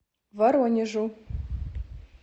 воронежу